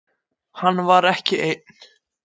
Hann var ekki einn.